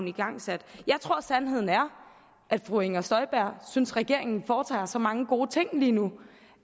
igangsat jeg tror sandheden er at fru inger støjberg synes at regeringen foretager sig så mange gode ting lige nu